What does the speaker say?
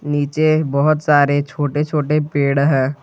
नीचे बहोत सारे छोटे-छोटे पेड़ है।